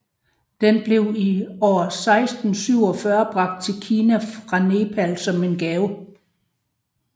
Den blev i år 647 bragt til Kina fra Nepal som en gave